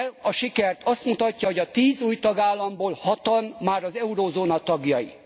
A sikert az mutatja, hogy a tíz új tagállamból hatan már az euróövezet tagjai.